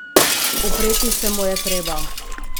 Upreti se mu je treba!